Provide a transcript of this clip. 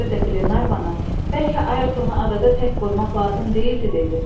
Ona görə də Qlenarvana bəlkə Ayertonu adada tək qoymaq lazım deyildi dedi.